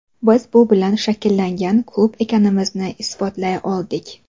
Biz bu bilan shakllangan klub ekanimizni isbotlay oldik.